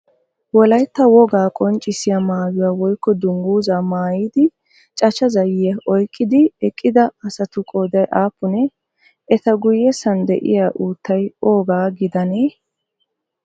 Wolayitta wogaa qonccissiya mayyuwa woyikko dungguzzaa mayyidi cachcha zayyiya oyikkidi eqqida asatu qooday aappunee? Eta guyyessan diya uuttay oogaa gidanee?